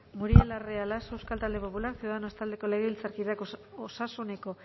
muriel larrea laso euskal talde popular ciudadanos taldeko legebiltzarkideak osasuneko